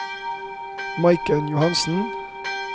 Maiken Johannessen